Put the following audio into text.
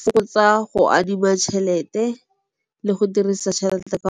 fokotsa go adima tšhelete le go dirisa tšhelete ka .